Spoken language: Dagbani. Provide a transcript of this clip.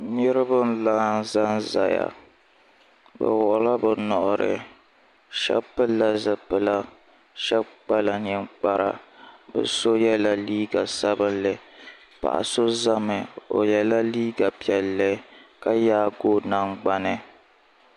Niriba n laɣim za n zaya bi wuɣila bi nuhi ahɛba pili la zipila shɛba kpala ninkpara bi ao yela liiga sabinli paɣa ao zami o yela liiga piɛli ka yaaigi o nangnani.